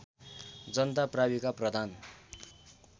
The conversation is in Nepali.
जनता प्राविका प्रधान